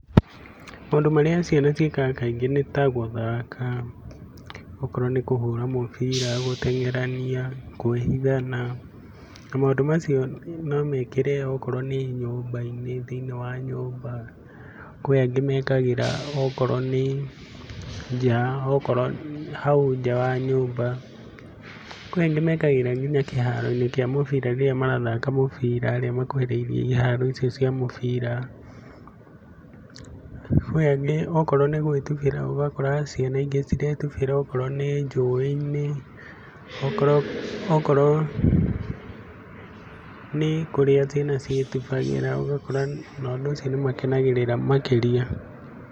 Maũndũ marĩa ciana ciĩkaga kaingĩ nĩ ta gũthaka, okorwo nĩ kũhũra mũbira, gũteng'erania, kũĩhithana, na maũndũ macio no mekĩre okorwo nĩ nyũmba-inĩ, thĩiniĩ wa nyũmba, kwĩ angĩ mekagĩra okorwo nĩ nja, okorwo hau nja wa nyũmba, kwĩ angĩ mekagĩra nginya kĩharo-inĩ kĩa mũbira rĩrĩa marathaka mũbira rĩmwe iharo icio cia mũbira. Kwi angĩ okorwo nĩ gũĩtubĩra ũgakora ciana ingĩ ciretubĩra okorwo nĩ njũĩ-inĩ, okorwo nĩ kũrĩa ciana ciĩtubagĩra ũgakora ona ũndũ ũcio nĩ makenagĩrĩra makĩria.